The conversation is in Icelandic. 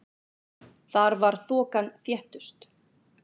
Þar var þokan þéttust.